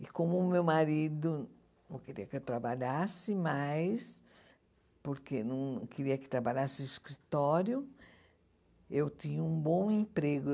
E como o meu marido não queria que eu trabalhasse mais, porque não queria que trabalhasse no escritório, eu tinha um bom emprego.